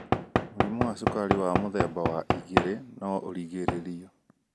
Mũrimũ wa cukari wa mũthemba wa 2 no ũgirĩrĩrio.